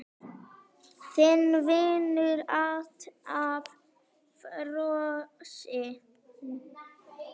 Þinn vinnur alltaf, Frosti.